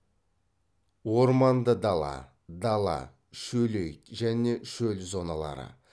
орманды дала дала шөлейт және шөл зоналары